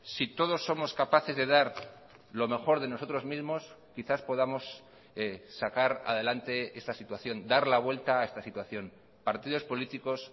si todos somos capaces de dar lo mejor de nosotros mismos quizás podamos sacar adelante esta situación dar la vuelta a esta situación partidos políticos